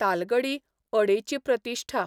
तालगडी अडेची 'प्रतिश्ठा '